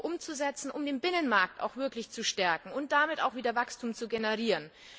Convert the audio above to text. umgesetzt werden, um den Binnenmarkt auch wirklich zu stärken und damit auch wieder Wachstum zu generieren.